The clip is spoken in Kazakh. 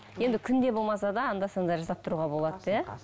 енді күнде болмаса да анда санда жасап тұруға болады иә